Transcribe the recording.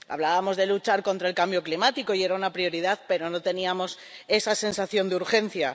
Hablábamos de luchar contra el cambio climático y era una prioridad, pero no teníamos esa sensación de urgencia.